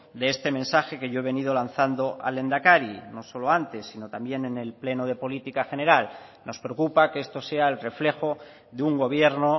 de este mensaje que yo he venido lanzando al lehendakari no solo antes sino también en el pleno de política general nos preocupa que esto sea el reflejo de un gobierno